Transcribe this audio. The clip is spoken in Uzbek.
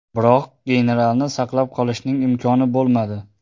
Biroq generalni saqlab qolishning imkoni bo‘lmadi.